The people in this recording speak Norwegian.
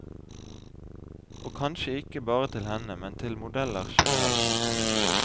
Og kanskje ikke bare til henne, men til modeller generelt.